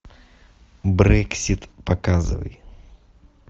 брексит показывай